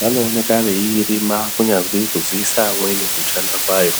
vanooneka vachiirima kunyazi kuziisa amweni kushanda kwayo.